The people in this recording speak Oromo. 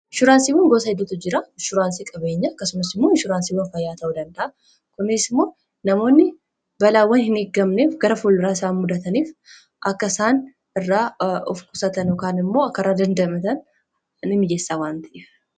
Inshuraansiiwwan gosoota hedduutu jiru; inshuraansii qabeenyaa akkasumas inshuraansii fayyaa ta'uu danda'u. Kunis immoo, namoonni balaawwan hin eegamne kan gara fuulduraatti isaan mudataniif akka of qusatan, ykn immoo balaa sana irra akka dandamatan ni mijeessa waan ta'eef.